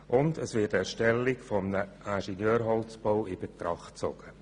Und es wird die Erstellung eines Ingenieurholzbaus in Betracht gezogen.